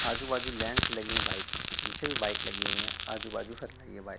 आजू बाजू लेंस लगे हैं बाइक उसके पीछे भी बाइक लगी हुई हैं आजू बाजू फिर लगी है बाइक ।